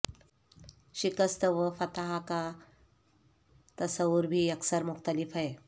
شکست و فتح کا تصور بھی یکسر مختلف ہے